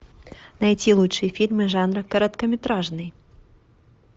найти лучшие фильмы жанра короткометражный